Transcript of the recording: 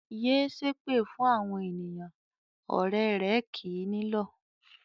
"Yé ṣépè fún àwọn ènìyàn!" Ọ̀rẹ́ rẹ̀ kì í nílọ̀.